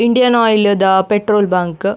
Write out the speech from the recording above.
Indian Oil ದ petrol bunk .